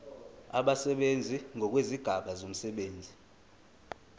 abasebenzi ngokwezigaba zomsebenzi